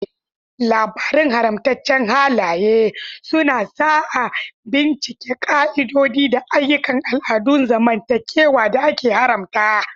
Labarun haramatacen halaye suna sa a bincika ƙa'idodi da ayyukan al'adun zamantakewa da aka haramta.